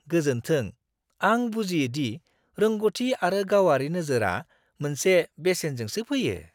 गोजोन्थों! आं बुजियो दि रोंग'थि आरो गावारि नोजोरआ मोनसे बेसेनजोंसो फैयो!